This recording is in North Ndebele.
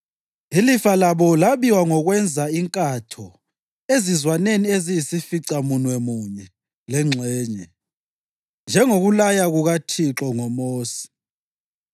Ilifa labo labiwa ngokwenza inkatho ezizwaneni eziyisificamunwemunye lengxenye, njengokulaya kukaThixo ngoMosi.